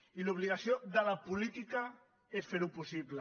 i l’obligació de la política és fer ho possible